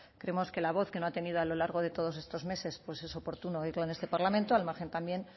creemos que la voz que no ha tenido a lo largo de todos estos meses pues es oportuno oírlo en este parlamento al margen también